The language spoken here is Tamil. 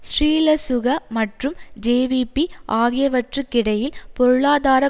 ஸ்ரீலசுக மற்றும் ஜேவிபி ஆகியவற்றுக்கிடையில் பொருளாதார